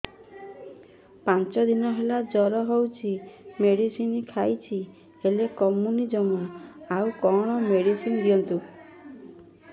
ପାଞ୍ଚ ଦିନ ହେଲା ଜର ହଉଛି ମେଡିସିନ ଖାଇଛି ହେଲେ କମୁନି ଜମା ଆଉ କଣ ମେଡ଼ିସିନ ଦିଅନ୍ତୁ